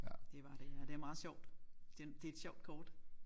Det var det ja det er meget sjovt det det er et sjovt kort